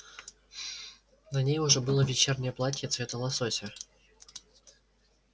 на ней уже было вечернее платье цвета лосося